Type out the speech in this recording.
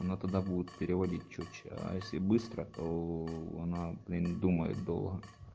она тогда будут переводить чётче а если быстро то она блин думает долго